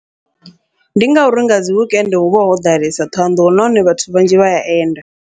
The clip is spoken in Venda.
Ndi ngauri nga dzi wekende huvha ho ḓalesa Thohoyanḓou, nahone vhathu vhanzhi vha ya enda.